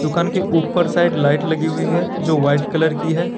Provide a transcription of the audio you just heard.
दुकान के ऊपर साइड लाइट लगी हुई है जो व्हाइट कलर की है।